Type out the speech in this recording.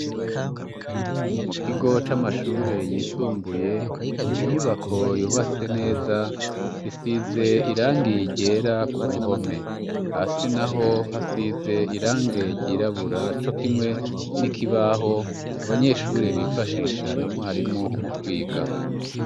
Mu kigo c'amashure yisumbuye, ni inyubako yubatse neza, isize irangi ryera ku ruhome. Hasi naho hasize irangi ryirabura co kimwe n'ikibaho abanyeshuri bifashisha na mwarimu mu kwiga.